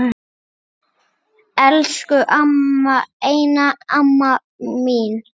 Elsku amma, eina amma mín.